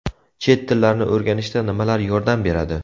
Chet tillarini o‘rganishda nimalar yordam beradi?.